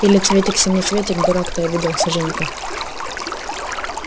или цветик-семицветик дурак ты обиделся женька